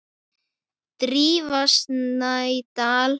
Drífa Snædal.